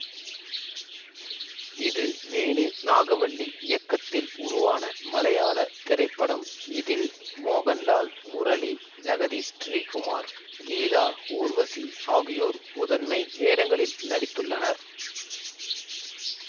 இது வேணு நாகவள்ளி இயக்கத்தில் உருவான மலையாள திரைப்படம் இதில் மோகன்லால் முரளி ஜகதி ஸ்ரீகுமார் கீதா ஊர்வசி ஆகியோர் முதன்மை வேடங்களில் நடித்துள்ளனர்